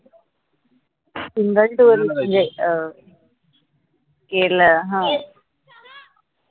singaltour म्हनजे अं केरला हा